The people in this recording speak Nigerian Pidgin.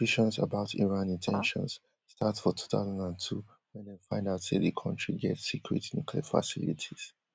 suspicions about iran in ten tions start for two thousand and two wen dem find out say di kontri get secret nuclear facilities